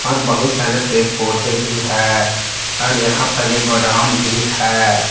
और बहुत सारे पेड़ पौधे भी हैं और यहां पर एक गोडाउन भी है।